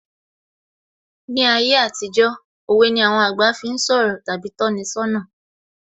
Ní ayé àtijó, òwe ni àwọn àgbà fi ń sọ̀rọ̀ tàbí tọ́ni ṣọ́nà